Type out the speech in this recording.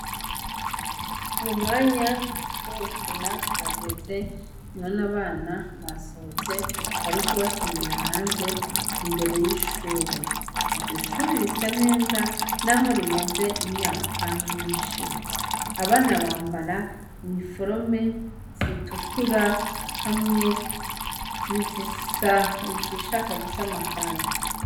Mu mwanya w'ugukena urageze none abana basohotse bariku bakinira hanze imbere y'ishure iryo shure risa neza, naho rimaze imyaka myinshi abana bambara imforome zitukura hamwe ni zisa izishaka gusana kaki.